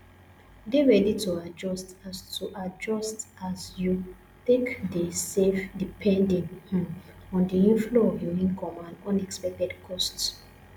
dey ready to adjust as to adjust as you take de save depending um on the inflow of your income and unexpected costs